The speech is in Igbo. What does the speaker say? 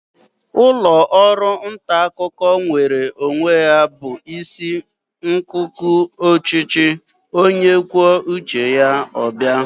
Ụlọ ọrụ nta akụkọ nweere onwe ya bụ isi nkuku ọchịchị onye kwuo uche ya ọ bụla.